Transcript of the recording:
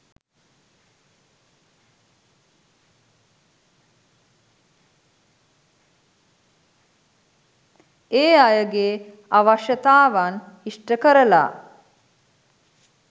ඒ අයගේ අවශ්‍යතාවන් ඉෂ්ට කරලා